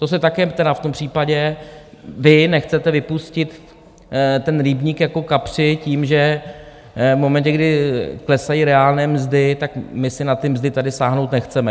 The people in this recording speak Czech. To si také tedy v tom případě vy nechcete vypustit ten rybník jako kapři tím, že v momentě, kdy klesají reálné mzdy, tak my si na ty mzdy tady sáhnout nechceme.